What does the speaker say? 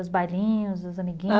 Os bailinhos, os amiguinhos? ãh